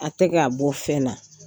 A tɛ kɛ a bɔ fɛn na